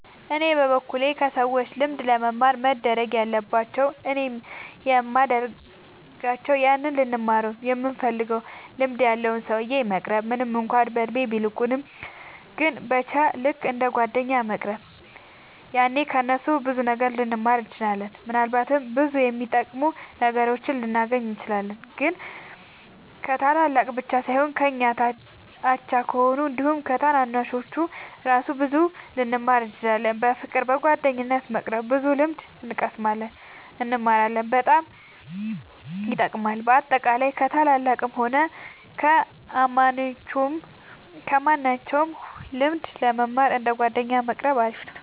እኔ በበኩሌ ከሰዎች ልምድ ለመማር መደረግ ያለባቸው እኔም የሚደርጋቸው ያንን ልንማረው ይምንፈልገውን ልምድ ያለውን ሰውዬ መቅረብ ምንም እንኳን በእድሜ ቢልቁንም ግን በቻ ልክ እንደ ጓደኛ መቅረብ ያኔ ከ እነሱ ብዙ ልንማር እንችላለን። ምናልባትም ብዙ የሚጠቅሙ ነገሮችን ልናገኝ እንችላለን። ግን ከታላላቅ ብቻ ሳይሆን ከኛ አቻ ከሆኑት አንዲሁም ከታናናሾቹ እራሱ ብዙ ልንማር እንችላለን። በፍቅር በጓደኝነት በመቅረብ ብዙ ልምድ እንቀስማለን እንማራለን በጣም ይጠቅማል። በአጠቃላይ ከ ታላላቅም ሆነ ከማንኞቹም ልምድ ለመማር እንደ ጓደኛ መቆረብ አሪፍ ነው